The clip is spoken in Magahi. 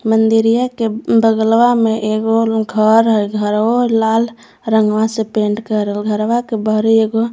मंदिरिया के बगलवा में एगो घर हैघरवो लाल रंगवा से पेंट करल घरवा के बहरे एगो--